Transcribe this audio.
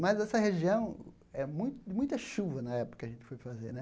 Mas essa região é mui de muita chuva na época que a gente foi fazer, né?